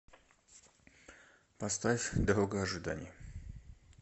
поставь дорога ожиданий